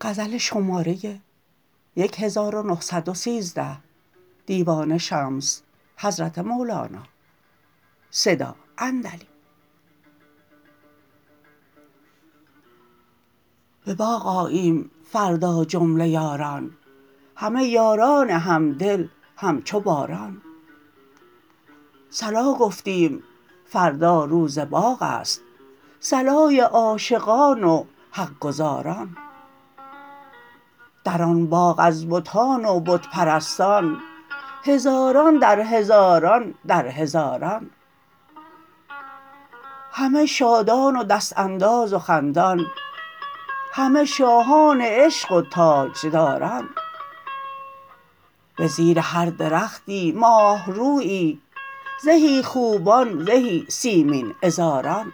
به باغ آییم فردا جمله یاران همه یاران همدل همچو باران صلا گفتیم فردا روز باغ است صلای عاشقان و حق گزاران در آن باغ بتان و بت پرستان هزاران در هزاران در هزاران همه شادان و دست انداز و خندان همه شاهان عشق و تاجداران به زیر هر درختی ماه رویی زهی خوبان زهی سیمین عذاران